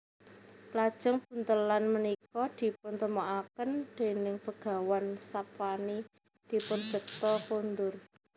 Lajeng buntelan punika dipuntemokaken déning Begawan Sapwani dipun bekta kondur